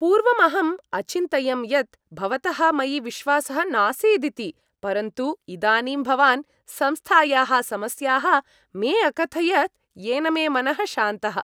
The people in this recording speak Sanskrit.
पूर्वम् अहम् अचिन्तयं यत् भवतः मयि विश्वासः नासीदिति, परन्तु इदानीं भवान् संस्थायाः समस्याः मे अकथयत्, येन मे मनः शान्तः।।